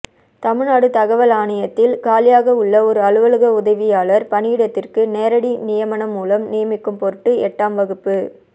தமிழ்நாடு தகவல் ஆணையத்தில் காலியாகவுள்ள ஒரு அலுவலக உதவியாளர் பணியிடத்திற்கு நேரடி நியமனம் மூலம் நிமிக்கும் பொருட்டு எட்டாம் வகுப்பு